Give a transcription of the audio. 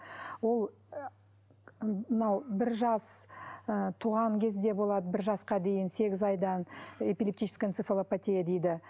ол ы мынау бір жас ы туған кезде болады бір жасқа дейін сегіз айдан эпилептическая энцофалопатия дейді